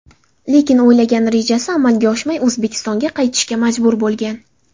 Lekin o‘ylagan rejasi amalga oshmay, O‘zbekistonga qaytishga majbur bo‘lgan.